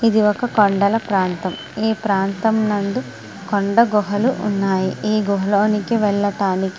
ఇది ఒక కొండల ప్రాంతం. ఈ కొండల ప్రాంతం నందు కొండ గుహలు ఉన్నాయి. ఈ గృహాలోనికివ వెళ్లడానికి --